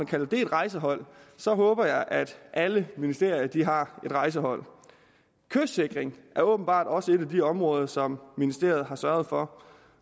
kaldes et rejsehold håber jeg at alle ministerier har et rejsehold kystsikring er åbenbart også et af de områder som ministeriet har sørget for